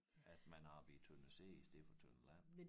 At man arbejder i tønder sæde i stedet for tønder land